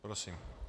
Prosím.